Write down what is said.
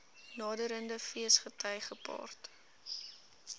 naderende feesgety gepaard